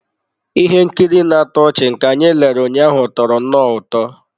Ihe nkiri na-atọ ọchị nke anyị lere ụnyaahụ tọrọ nnọọ ụtọ.